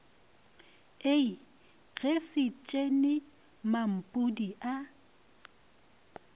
ie ge setšhene mampudi a